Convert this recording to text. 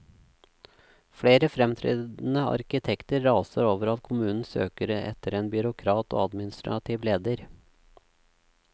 Flere fremtredende arkitekter raser over at kommunen søker etter en byråkrat og administrativ leder.